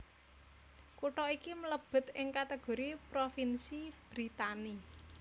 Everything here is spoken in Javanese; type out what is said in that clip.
Kutha iki mlébet ing kategori propinsi Brittany